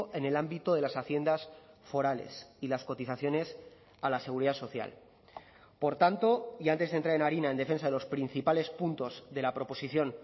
en el ámbito de las haciendas forales y las cotizaciones a la seguridad social por tanto y antes de entrar en harina en defensa de los principales puntos de la proposición